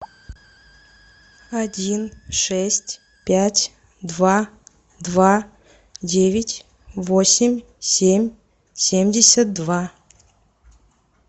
один шесть пять два два девять восемь семь семьдесят два